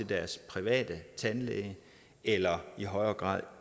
deres private tandlæge eller i højere grad